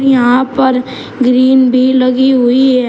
यहां पर ग्रीन भी लगी हुई है।